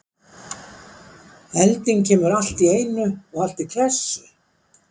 Elding kemur allt í einu og allt í klessu?